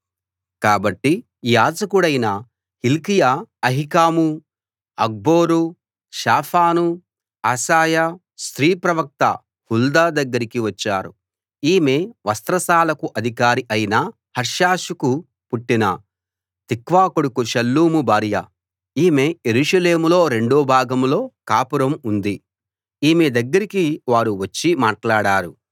కాబట్టి యాజకుడైన Hilkiah Ahikam Achbor Shaphan Asaiah స్త్రీ ప్రవక్త హుల్దా దగ్గరికి వచ్చారు ఈమె వస్త్రశాలకు అధికారి అయిన హర్హషుకు పుట్టిన తిక్వా కొడుకు షల్లూము భార్య ఈమె యెరూషలేములో రెండో భాగంలో కాపురం ఉంది ఈమె దగ్గరికి వారు వచ్చి మాటలాడారు